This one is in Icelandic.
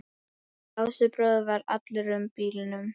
Lási bróðir var allur í bílum.